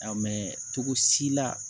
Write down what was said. A mɛ cogo si la